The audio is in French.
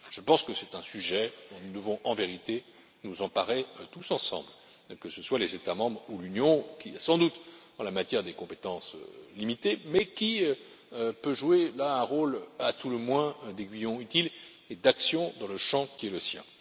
Je pense que c'est un sujet dont nous devons en vérité nous emparer tous ensemble, que ce soit les États membres ou l'Union, qui a sans doute en la matière des compétences limitées, mais qui peut jouer un rôle, à tout le moins, d'aiguillon utile et de moteur dans le champ qui est le sien.